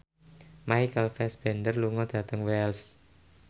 Michael Fassbender lunga dhateng Wells